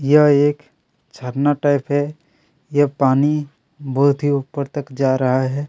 यह एक झरना टाइप है ये पानी बहुत ही ऊपर तक जा रहा है।